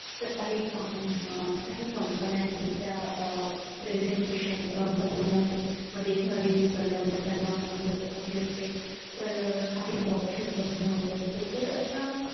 तर काही अं काही COMPANY आहेत त्या अह presentation बनवण्यामध्ये किंवा review करण्यामध्ये त्यांना मदत हवी असते तर काही worksheet बघण्या मध्ये असते तर अशा